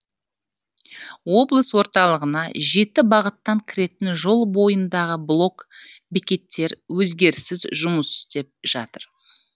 облыс орталығына жеті бағыттан кіретін жол бойындағы блок бекеттер өзгеріссіз жұмыс істеп жатыр